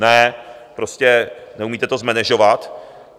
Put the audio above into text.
Ne, prostě neumíte to zmenežovat.